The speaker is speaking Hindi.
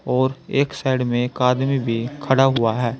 और एक साइड में एक आदमी भी खड़ा हुआ है।